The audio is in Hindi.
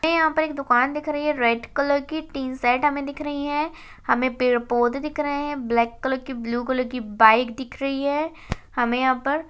हमे यहाँ पर एक दुकान दिख रही है रेड कलर की टीन सेट हमे दिख रही है। हमें पेड़ पौधे दिख रहे हैं ब्लैक कलर की ब्लू कलर की बाइक दिख रही है हमे यहाँ पर --